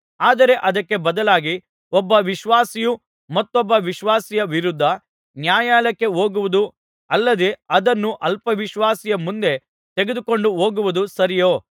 ಆದರೆ ಅದಕ್ಕೆ ಬದಲಾಗಿ ಒಬ್ಬ ವಿಶ್ವಾಸಿಯು ಮತ್ತೊಬ್ಬ ವಿಶ್ವಾಸಿಯ ವಿರುದ್ಧ ನ್ಯಾಯಾಲಯಕ್ಕೆ ಹೋಗುವುದು ಅಲ್ಲದೆ ಅದನ್ನು ಅವಿಶ್ವಾಸಿಯ ಮುಂದೆ ತೆಗೆದುಕೊಂಡು ಹೋಗುವುದು ಸರಿಯೋ